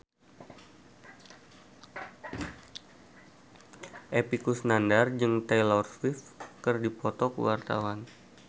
Epy Kusnandar jeung Taylor Swift keur dipoto ku wartawan